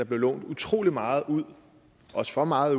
blev lånt utrolig meget ud også for meget